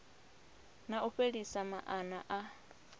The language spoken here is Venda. na u fhelisa maana a